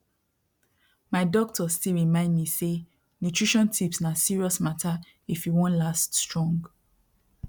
my doctor still remind me say nutrition tips na serious matter if you wan last strong